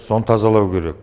соны тазалау керек